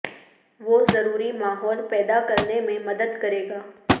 وہ ضروری ماحول پیدا کرنے میں مدد کرے گا